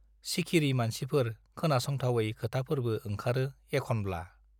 सिखिरि मानसिफोर खोनासंथावै खोथाफोरबो ओंखारो एखनब्ला।